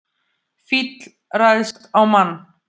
Fíll ræðst á mann